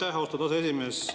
Aitäh, austatud aseesimees!